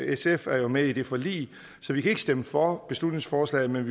sf er med i det forlig så vi kan ikke stemme for beslutningsforslaget vi